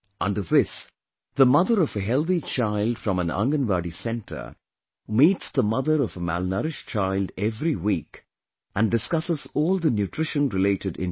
Under this, the mother of a healthy child from an Anganwadi center meets the mother of a malnourished child every week and discusses all the nutrition related information